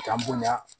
K'an bonya